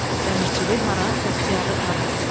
Dəmirçilik hara, bəxtiyarlıq hara?"